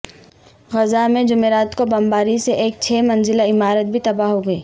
غزہ میں جمعرات کو بمباری سے ایک چھ منزلہ عمارت بھی تباہ ہو گئی